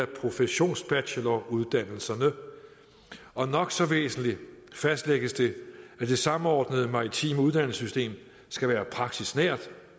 professionsbacheloruddannelserne og nok så væsentligt fastlægges det at det samordnede maritime uddannelsessystem skal være praksisnært